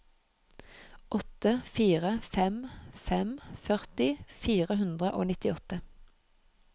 åtte fire fem fem førti fire hundre og nittiåtte